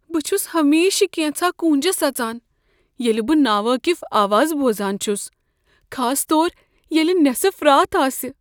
بہٕ چھس ہمیشہٕ كینژھا كوٗنجس اژان ییلہ بہٕ ناوٲقف آوازٕ بوزان چھس، خاص طور ییلِہ نٮ۪صف رات آسہ۔